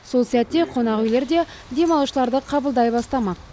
сол сәтте қонақүйлерде демалушыларды қабылдай бастамақ